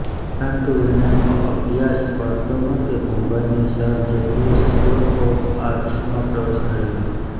પરંતુ વિનયનનો અભ્યાસ પડતો મૂકી મુંબઈની Sir J J School of આર્ટ્સમાં પ્રવેશ મેળવ્યો